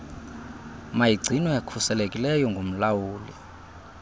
mayigcinwe khuselekileyo ngumlawuli